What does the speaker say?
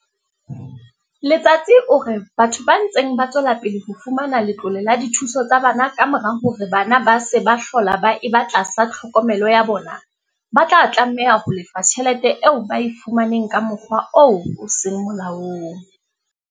Letsatsi o re batho ba ntseng ba tswela pele ho fumana letlole la dithuso tsa bana kamora hore bana ba se ba hlola ba eba tlasa tlhokomelo ya bona, ba tla tlameha ho lefa tjhelete eo ba e fumaneng ka mokgwa oo o seng molaong.